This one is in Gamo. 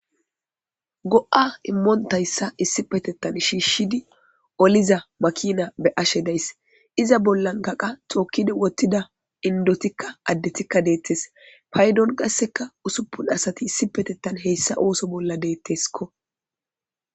Go7aa immonththayssa issipetheththa gi shshishshiizi oliza makiina be7ashe de7ays; iza bollankka qa thookkizi woththida inddothikka affethikka deeththees; paydon qassi usuppun asathi heyssanththa ooso bollan deeththeskkoo.